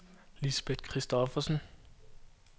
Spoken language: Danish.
Lisbeth Kristoffersen